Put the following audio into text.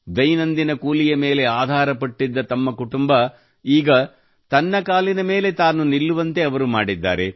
ದೈನಂದಿನ ಕೂಲಿಯ ಮೇಲೆ ಆಧಾರಪಟ್ಟಿದ್ದ ತಮ್ಮ ಕುಟುಂಬ ಈಗ ತನ್ನ ಕಾಲಿನ ಮೇಲೆ ತಾನು ನಿಲ್ಲುವಂತೆ ಅವರು ಮಾಡಿದ್ದಾರೆ